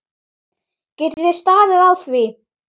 Geti þið staðið á því?